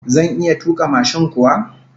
Zan iya tuka mashin kuwa?